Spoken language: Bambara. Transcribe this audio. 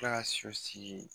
kila ka so sigi